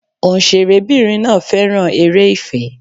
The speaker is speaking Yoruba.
Òǹṣẹ̀rẹ́ bìnrin náà féràn eré ìfẹ́.